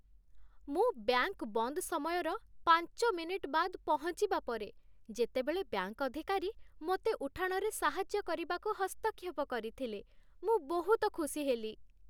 ମୁଁ ବ୍ୟାଙ୍କ୍ ବନ୍ଦ ସମୟର ପାଞ୍ଚ ମିନିଟ୍ ବାଦ୍ ପହଞ୍ଚିବା ପରେ, ଯେତେବେଳେ ବ୍ୟାଙ୍କ୍ ଅଧିକାରୀ ମୋତେ ଉଠାଣରେ ସାହାଯ୍ୟ କରିବାକୁ ହସ୍ତକ୍ଷେପ କରିଥିଲେ, ମୁଁ ବହୁତ ଖୁସି ହେଲି।